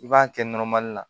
I b'a kɛ la